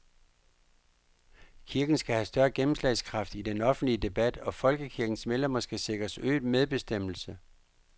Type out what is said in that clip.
Kirken skal have større gennemslagskraft i den offentlige debat, og folkekirkens medlemmer skal sikres øget medbestemmelse.